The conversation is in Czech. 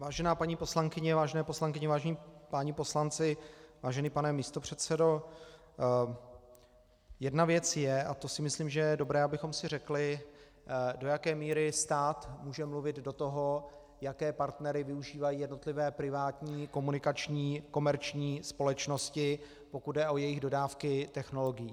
Vážená paní poslankyně, vážené poslankyně, vážení páni poslanci, vážený pane místopředsedo, jedna věc je, a to si myslím, že je dobré, abychom si řekli, do jaké míry stát může mluvit do toho, jaké partnery využívají jednotlivé privátní komunikační komerční společnosti, pokud jde o jejich dodávky technologií.